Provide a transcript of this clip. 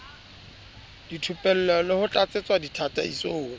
dithupello le ho tlatsetsa ditataisong